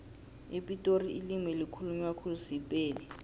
epitori ilimi elikhulunywa khulu sipedi